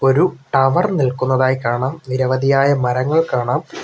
ഒരു ടവർ നിൽക്കുന്നതായി കാണാം നിരവധിയായ മരങ്ങൾ കാണാം.